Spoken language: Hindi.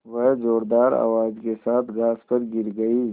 वह ज़ोरदार आवाज़ के साथ घास पर गिर गई